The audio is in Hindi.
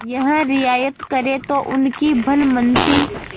यह रियायत करें तो उनकी भलमनसी